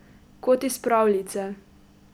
Kot iz pravljice.